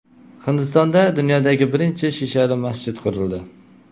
Hindistonda dunyodagi birinchi shishali masjid qurildi.